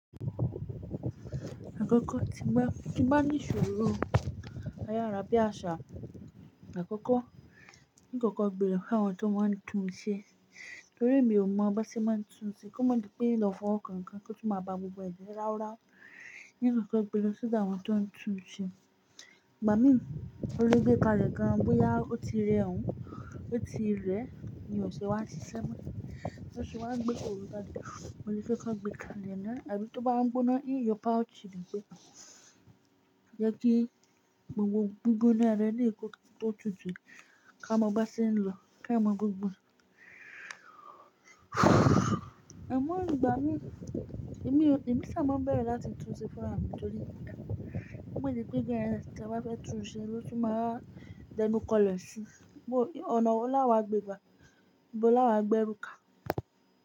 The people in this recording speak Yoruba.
Àkọ́kọ́ tí n bá, tí n bá ní ìṣòro ayárá bí àṣá. Àkọ́kọ́, níkọ̀kọ́ gbèrò pé àwọn tó máa ń tun un ṣe, torí èmi ò mọ bi wón se máa ń tun un ṣe. Kó má di pé in lo fọ́kàn kan tó tún máa ba gbogbo ẹ̀ jé láwú láwú. Níkọ̀kọ́ gbèrò sódà àwọn tó ń tun un ṣe. Ìgbà mí, olè gbé kalẹ̀ gan, bóyá ó ti rẹ òun, ó ti rẹ, mi ò ṣe wá ṣiṣẹ́ mọ́. Só ṣe wá gbé kọ̀rọ̀ gba dé, mo ní fẹ́ ká gbé kalẹ̀ náà, àbí tó bá ń gbóná, ìyọ́pá ò sì ní gbé. Jẹ́ kí gbogbo gbígbóná rẹ ní ìkọ̀kọ̀ tó tutù, ká mọ ọba sí ní lọ, ká mọ gbogbo rẹ̀. Ẹ̀ mọ́ ni ìgbà mí, èmi o, èmi ṣà máa ń bẹ̀rù láti tun un ṣe fúnra mi torí ìgbà kan. Ó gbeje pé bí ẹni tí a bá fẹ́ tun un ṣe ló tún máa d'ẹnu kọ́lẹ̀ ṣú. Bó, ọ̀nà wo láwàá gbé gbà? Ibo láwàá gbẹ́ èrú ka?